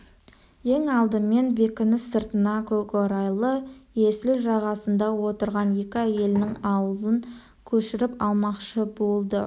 ең алдымен бекініс сыртына көкорайлы есіл жағасында отырған екі әйелінің ауылын көшіріп алмақшы болды